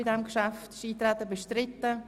Ist das Eintreten bestritten?